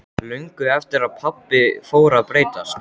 Löngu eftir að pabbi fór að breytast.